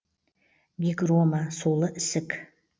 гигрома сулы ісік